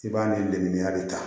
I b'a ni lemuru ta